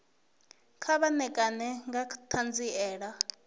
kha vha ṋekane nga ṱhanziela